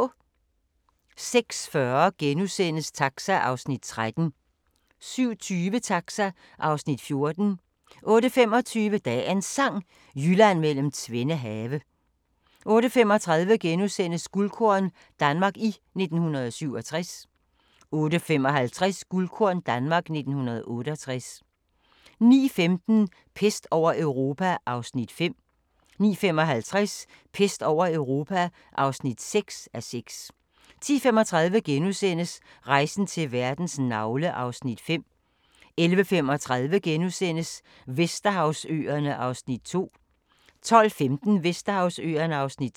06:40: Taxa (Afs. 13)* 07:20: Taxa (Afs. 14) 08:25: Dagens Sang: Jylland mellem tvende have 08:35: Guldkorn – Danmark i 1967 * 08:55: Guldkorn – Danmark i 1968 09:15: Pest over Europa (5:6) 09:55: Pest over Europa (6:6) 10:35: Rejsen til verdens navle (Afs. 5)* 11:35: Vesterhavsøerne (Afs. 2)* 12:15: Vesterhavsøerne (Afs. 3)